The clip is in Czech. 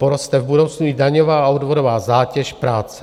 Poroste v budoucnu i daňová a odvodová zátěž práce.